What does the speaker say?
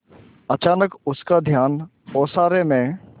अचानक उसका ध्यान ओसारे में